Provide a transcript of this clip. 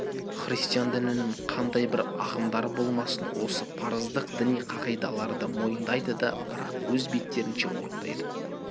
христиан дінінің қандай бір ағымдары болмасын осы парыздық діни кағидаларды мойындайды да бірақ өз беттерінше орындайды